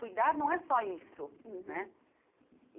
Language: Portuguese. Cuidar não é só isso uhum né.